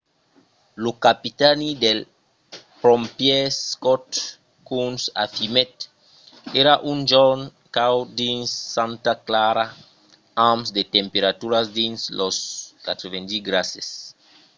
lo capitani dels pompièrs scott kouns afirmèt: èra un jorn caud dins santa clara amb de temperaturas dins los 90 grases